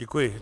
Děkuji.